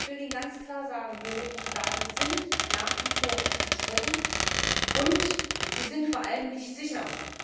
Ich will Ihnen ganz klar sagen Biometrische Daten sind nach wie vor umstritten, und sie sind vor allem nicht sicher.